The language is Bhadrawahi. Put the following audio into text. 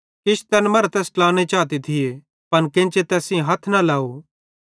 किछ तैन मरां तैस ट्लाने चाते थिये पन केन्चे तैस सेइं हथ न लव